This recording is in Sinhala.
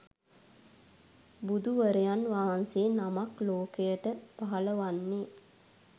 බුදුවරයන් වහන්සේ නමක් ලෝකයට පහළ වන්නේ